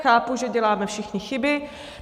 Chápu, že děláme všichni chyby.